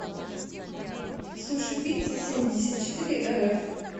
сушипиццасемьдесятчетыреэрэф